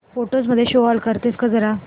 photos मध्ये show all करतेस का जरा